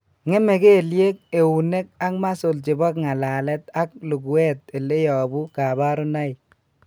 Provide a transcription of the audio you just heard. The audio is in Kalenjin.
Ng'eme kelyek, eunek, ak muscles chebo ng'alalet ak luguet ele yobu kabarunoik